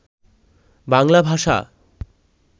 বাংলাভাষা